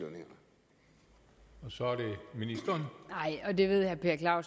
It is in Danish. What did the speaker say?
så det